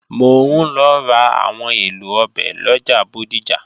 Mò ń lọ ra àwọn èlò ọbẹ̀ lọjà Bódìjà